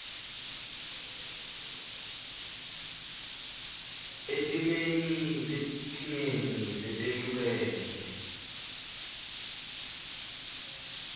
etimeni letinengi letehlukene